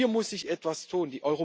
Hier muss sich etwas tun!